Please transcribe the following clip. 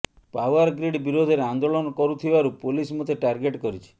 Powergrid ବିରୋଧରେ ଆନ୍ଦୋଳନ କରୁଥିବାରୁ ପୁଲିସ ମୋତେ ଟାର୍ଗେଟ କରିଛି